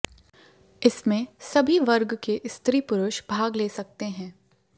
इसमें सभी वर्ग के स्त्री पुरुष भाग ले सकते हैं